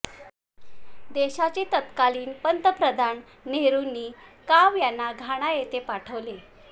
देशाचे तत्कालीन पंतप्रधान नेहरूनी काव यांना घाना येथे पाठवले